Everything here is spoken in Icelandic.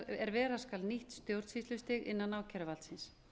er vera skal nýtt stjórnsýslustig innan ákæruvaldsins